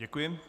Děkuji.